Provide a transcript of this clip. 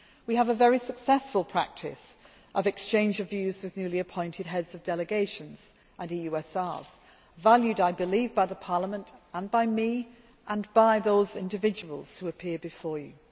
We have a very successful practice of exchange of views with newly appointed heads of delegations and EUSRs valued, I believe, by Parliament and by me and by those individuals who appear before you.